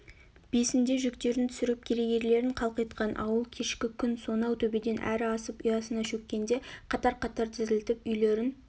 бесінде жүктерін түсіріп керегелерін қалқитқан ауыл кешкі күн сонау төбеден әрі асып ұясына шөккенде қатар-қатар тізілтіп үйлерін